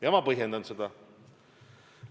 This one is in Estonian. Ja ma põhjendan seda.